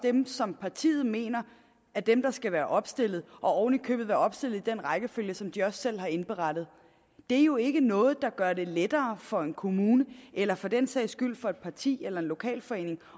er dem som partiet mener er dem der skal være opstillet og oven i købet være opstillet i den rækkefølge som de selv har indberettet det er jo ikke noget der gør det lettere for en kommune eller for den sags skyld for et parti eller en lokalforening